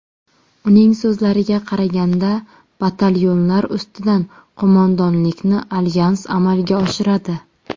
Uning so‘zlariga qaraganda, batalyonlar ustidan qo‘mondonlikni alyans amalga oshiradi.